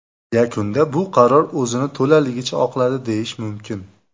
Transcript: Yakunda bu qaror o‘zini to‘laligicha oqladi, deyish mumkin.